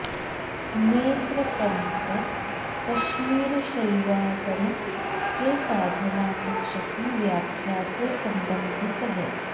नेत्र तंत्र कश्मीर शैवागम के साधना पक्ष की व्याख्या से संबंधित है